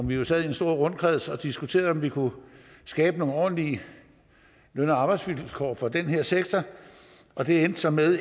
vi jo sad i en stor rundkreds og diskuterede om vi kunne skabe nogle ordentlige løn og arbejdsvilkår for den her sektor og det endte så med